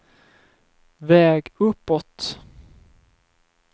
väg uppåt